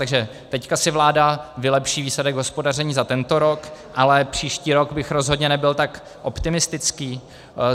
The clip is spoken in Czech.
Takže teď si vláda vylepší výsledek hospodaření za tento rok, ale příští rok bych rozhodně nebyl tak optimistický.